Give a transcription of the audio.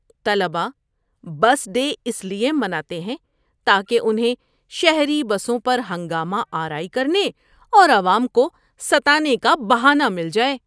طلبہ bus day اس لیے مناتے ہیں تاکہ انہیں شہری بسوں پر ہنگامہ آرائی کرنے اور عوام کو ستانے کا بہانہ مل جائے۔